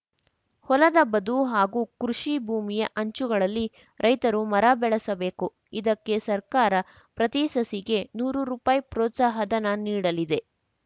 ಹೊಲದ ಬದು ಹಾಗೂ ಕೃಷಿ ಭೂಮಿಯ ಅಂಚುಗಳಲ್ಲಿ ರೈತರು ಮರ ಬೆಳೆಸಬೇಕು ಇದಕ್ಕೆ ಸರ್ಕಾರ ಪ್ರತಿ ಸಸಿಗೆ ನೂರು ರುಪಾಯಿ ಪ್ರೋತ್ಸಾಹಧನ ನೀಡಲಿದೆ